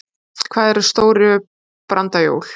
Hvað eru stóru brandajól?